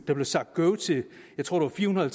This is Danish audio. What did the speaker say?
der blev sagt go til jeg tror fire hundrede